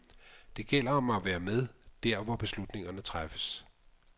Det gælder om at være med der hvor beslutningerne træffes.